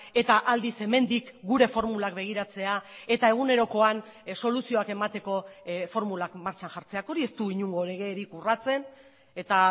eta aldiz hemendik gure formulak begiratzea eta egunerokoan soluzioak emateko formulak martxan jartzeak hori ez du inongo legerik urratzen eta